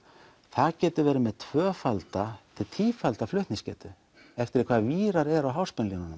það getur verið með tvöfalda tífalda flutningsgetu eftir hvaða vírar eru á háspennulínunum